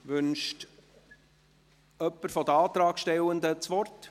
Wünscht jemand seitens der Antragstellenden das Wort?